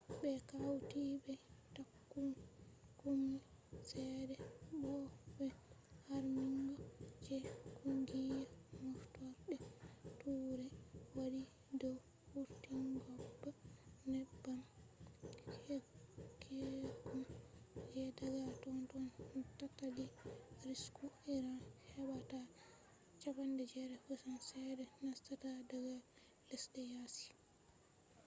ɓe hawti be takunkumi ceede bo be harmingo je kungiya moftorde turai waɗi dow wurtingobba neebbam keccum je daga totton tattali risku iran heɓɓata 80% ceede nastata daga lesɗe yaasi